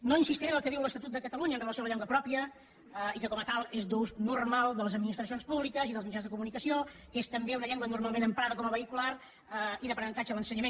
no insistiré en el que diu l’estatut de catalunya amb relació a la llengua pròpia que com a tal és d’ús normal de les administracions públiques i dels mitjans de comunicació que és també una llengua normalment emprada com a vehicular i d’aprenentatge a l’ensenyament